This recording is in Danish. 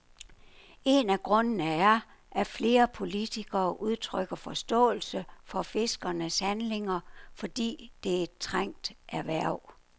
En af grundene er, at flere politikere udtrykker forståelse for fiskernes handlinger, fordi det er et trængt erhverv.